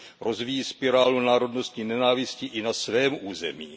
Rozvíjí spirálu národnostní nenávisti i na svém území.